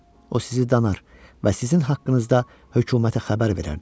O sizi danar və sizin haqqınızda hökumətə xəbər verərdi.